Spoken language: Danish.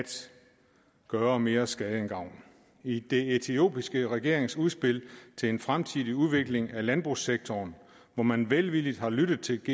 gøre mere skade end gavn i det etiopiske regeringsudspil til en fremtidig udvikling af landbrugssektoren hvor man velvilligt har lyttet til